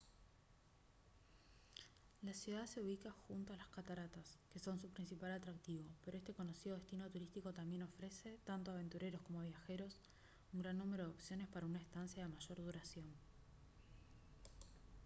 la ciudad se ubica junto a las cataratas que son su principal atractivo pero este conocido destino turístico también ofrece tanto a aventureros como a viajeros un gran número de opciones para una estancia de mayor duración